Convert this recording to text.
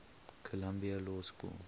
columbia law school